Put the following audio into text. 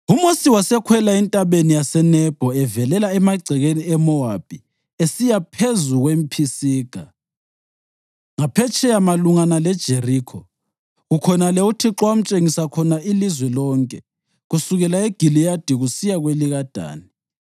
UMosi wasekhwela eNtabeni yaseNebho evelela emagcekeni eMowabi esiya phezu kwePhisiga, ngaphetsheya malungana leJerikho. Kukhonale uThixo amtshengisa khona ilizwe lonke, kusukela eGiliyadi kusiya kwelikaDani,